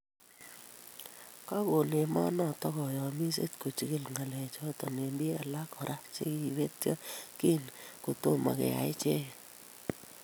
Kakon emonoto koyomiset kojigil ng'alechoto ak bik alak kora che kibetyo kiit netomo koyai icheket